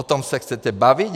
O tom se chcete bavit?